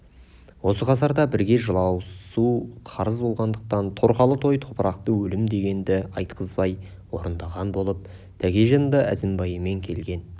осы қатарда бірге жыласу қарыз болғандықтан торқалы той топырақты өлім дегенді айтқызбай орындаған болып тәкежан да әзімбайымен келген